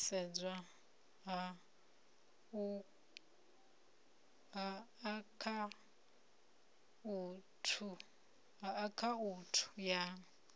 u khwathisedzwa ha akhaunthu ya